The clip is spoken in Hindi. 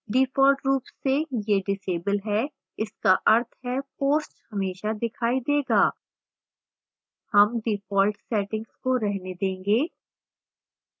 default रूप से ये visible हैं इसका अर्थ है posts हमेशा दिखाई देगा